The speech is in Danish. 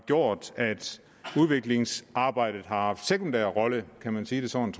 gjort at udviklingsarbejdet har haft en sekundær rolle kan man sige det sådan